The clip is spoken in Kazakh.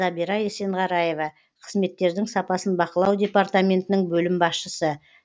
забира есенғараева қызметтердің сапасын бақылау департаментінің бөлім басшысы